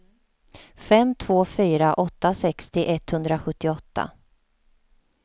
fem två fyra åtta sextio etthundrasjuttioåtta